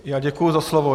Já děkuji za slovo.